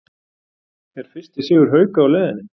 ER FYRSTI SIGUR HAUKA Á LEIÐINNI???